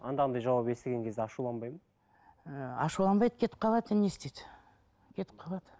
андағындай жауап естіген кезде ашуланбайды ма ы ашуланбайды кетіп қалады енді не істейді кетіп қалады